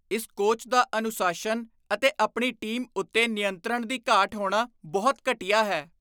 ਇਸ ਕੋਚ ਦਾ ਅਨੁਸ਼ਾਸਨ ਅਤੇ ਆਪਣੀ ਟੀਮ ਉੱਤੇ ਨਿਯੰਤਰਣ ਦੀ ਘਾਟ ਹੋਣਾ ਬਹੁਤ ਘਟੀਆ ਹੈ।